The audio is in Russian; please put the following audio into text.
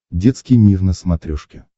детский мир на смотрешке